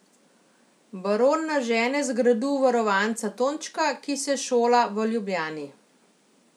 Baron nažene z gradu varovanca Tončka, ki se šola v Ljubljani.